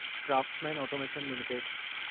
Craftsman automation limited